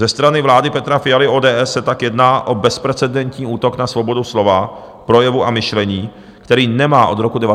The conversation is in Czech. Ze strany vlády Petra Fialy, ODS, se tak jedná o bezprecedentní útok na svobodu slova, projevu a myšlení, který nemá od roku 1989 obdoby.